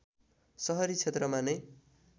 सहरी क्षेत्रमा नै